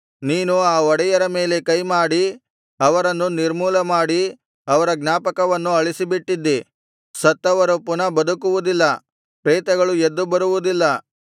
ನೀನು ಆ ಒಡೆಯರ ಮೇಲೆ ಕೈಮಾಡಿ ಅವರನ್ನು ನಿರ್ಮೂಲಮಾಡಿ ಅವರ ಜ್ಞಾಪಕವನ್ನು ಅಳಿಸಿಬಿಟ್ಟಿದ್ದಿ ಸತ್ತವರು ಪುನಃ ಬದುಕುವುದಿಲ್ಲ ಪ್ರೇತಗಳು ಎದ್ದು ಬರುವುದಿಲ್ಲ